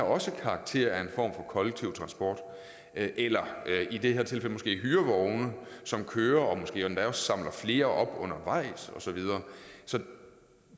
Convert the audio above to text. også har karakter af en form for kollektiv transport eller i det her tilfælde måske hyrevogne som kører og måske endda også samler flere op undervejs og så videre så